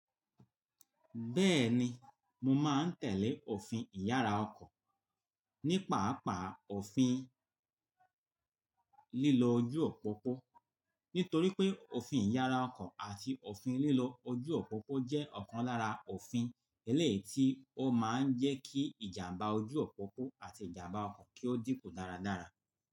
Bẹ́ẹ̀ni, mo máa ń tẹ̀lé òfin ìyára ọkọ̀ ní pàápàá òfin lílo ojú òpópó, nítorí pé òfin ìyára ọkọ̀ àti òfin lílo ojú òpópó jẹ́ ọ̀kan lára òfin eléyìí tí ó máa ń jẹ́ kí ìjàmbá ojú òpópó àti ìjàmbá ọkọ̀ kí ó dínkù dáradára.